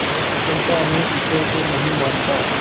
चंपा मैं ईश्वर को नहीं मानता